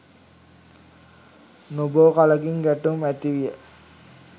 නොබෝ කලකින් ගැටුම් ඇතිවිය.